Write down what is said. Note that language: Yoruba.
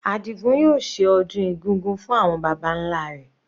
Adigun yóò ṣe ọdún egúngún fún àwọn baba nlá rẹ̀.